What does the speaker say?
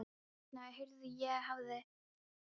Seinna heyrði ég hvað hafði gerst.